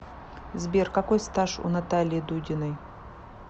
сбер какой стаж у натальи дудиной